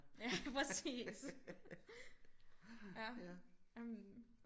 Ja præcis ja jamen